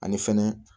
Ani fɛnɛ